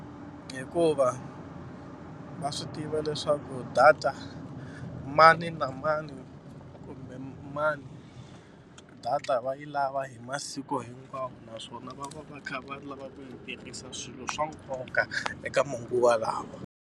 Hikuva va swi tiva leswaku data mani na mani kumbe mani data va yi lava hi masiku hinkwawo naswona va va va kha va lava ku yi tirhisa swilo swa nkoka eka manguva lawa.